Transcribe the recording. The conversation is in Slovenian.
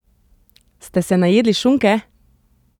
Ste se najedli šunke?